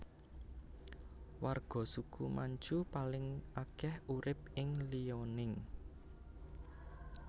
Warga suku Manchu paling akeh urip ing Liaoning